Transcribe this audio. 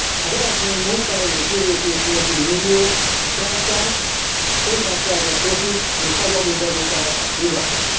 Az eredmény munkahely és jövőkép nélküli milliók, keleten könnyen szerzett profit és nagy adóbevételek nyugaton.